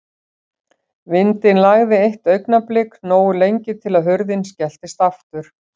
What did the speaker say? Vindinn lægði eitt augnablik, nógu lengi til að hurðin skelltist aftur.